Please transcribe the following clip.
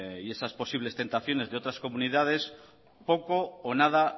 y esas posibles tentaciones de otras comunidades poco o nada